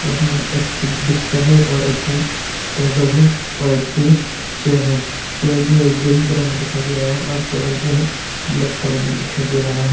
उसमें एक ठो बिस्तर है और एक ठो टेबल है और एक ठो चेयर है चेयर जो है ग्रीन कलर में दिखाई दे रहा है और टेबल जो है ब्लैक कलर मे दिखाइ दे रहा है।